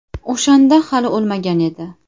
O‘shanda hali o‘lmagan edi.